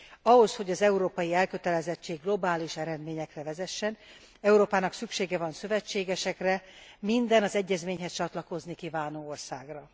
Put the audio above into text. Ahhoz, hogy az európai elkötelezettség globális eredményekhez vezessen Európának szüksége van szövetségesekre, minden, az egyezményhez csatlakozni kívánó országra.